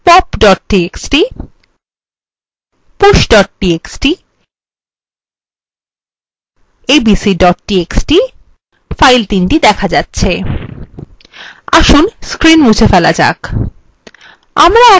এখানে pop txt push txt এবং abc txt files দেখা যাচ্ছে আসুন screen মুছে ফেলা যাক